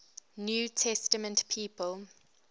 new testament people